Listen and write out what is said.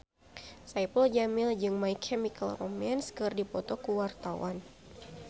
Saipul Jamil jeung My Chemical Romance keur dipoto ku wartawan